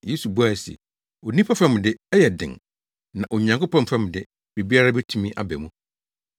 Yesu buae se, “Onipa fam de, ɛyɛ den, na Onyankopɔn fam de, biribiara betumi aba mu.”